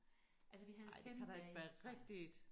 Altså vi havde 5 dage regn